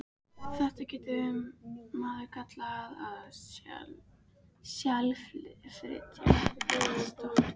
Þetta getur maður kallað að SELflytja, stundi Kobbi.